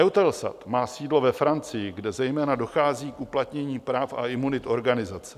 EUTELSAT má sídlo ve Francii, kde zejména dochází k uplatnění práv a imunit organizace.